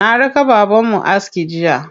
Na raka babanmu aski jiya.